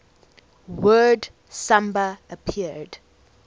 word samba appeared